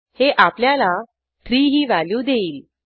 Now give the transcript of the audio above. हे आपल्याला 3 ही व्हॅल्यू देईल